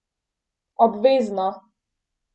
Obvezno!